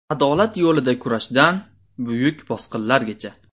Adolat yo‘lida kurashdan buyuk bosqinlargacha.